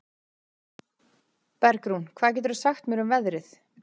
Bergrún, hvað geturðu sagt mér um veðrið?